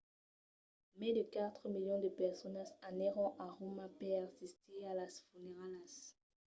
mai de quatre milions de personas anèron a roma per assistir a las funeralhas